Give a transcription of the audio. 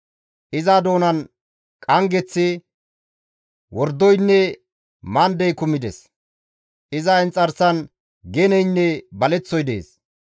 Iza doonan qanggeththi, wordoynne mandey kumides; iza inxarsan geneynne baleththoy dees.